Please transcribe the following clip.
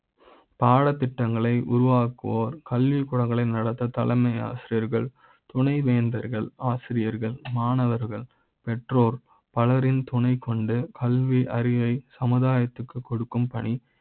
பாட த் திட்டங்களை உருவாக்குவோர், கல்விக்கூட ங்களை நடத்த தலைமை ஆசிரியர்கள் துணை வேந்தர்கள், ஆசிரியர்கள், மாணவர்கள் பெற்றோர் பல ரின் துணை கொண்டு கல்வி அறிவை. சமுதயத்திற்க்கு கொடுக்கும் பணி